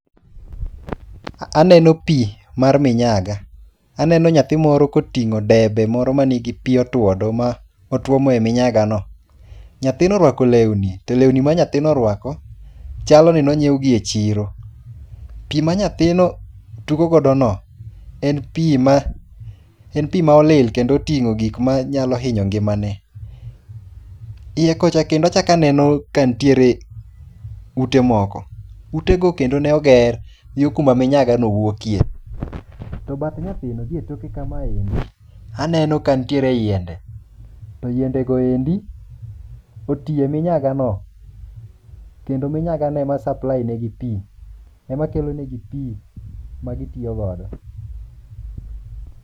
Aneno pi mar minyaga, aneno nyathii moro koting'o debe moro manigi pi otwodo ma otwomo e minyagano. Nyathino orwako lewni, to lewni ma nyathino oruako chaloni nonyiewgi e chiro. Pi ma nyathino tugogodono en pi maolil kendo oting'o gikmanyalo hinyo ngimane. Iye kocha kendo achako aneno ute moko, utego kendo neoger yoo kuma miyagano wuokie. To bath nyathino gi e toke kamae, aneno ka nitie yiende. To yiendego endi otiye minyagano kendo minyagano ema supplynigi pi, emakelonigi pi magitiyogodo.